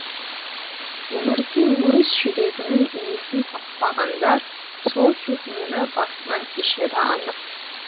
өмірде өз жүрегінің иесін таппағандар сол сезімді басынан кешері анық